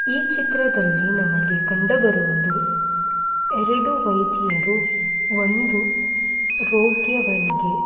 ಈ ಚಿತ್ರದಲ್ಲಿ ನಮಗೆ ಕಂಡುಬರುವುದು ಎರಡು ವೈದ್ಯರು ಒಂದು ರೋಗ್ಯನಿಗೆ--